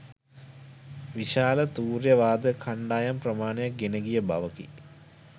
විශාල තූර්ය වාදක කණ්ඩායම් ප්‍රමාණයක් ගෙන ගිය බවකි